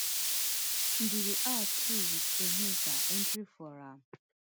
ndidi out too wit onyeka entering for am